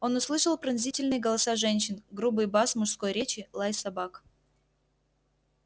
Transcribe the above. он услышал пронзительные голоса женщин грубый бас мужской речи лай собак